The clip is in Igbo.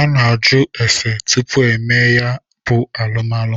a na-ajụ ese tupu emee ya bụ alụmalụ.